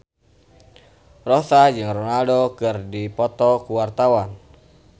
Rossa jeung Ronaldo keur dipoto ku wartawan